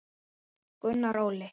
Gunnar Óli.